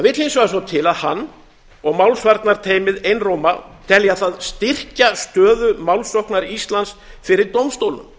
vegar svo til að hann og málsvarnarteymið einróma telja það styrkja stöðu málsóknar íslands fyrir dómstólnum